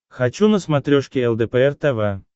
хочу на смотрешке лдпр тв